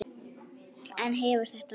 En hefur þetta ræst?